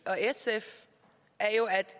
al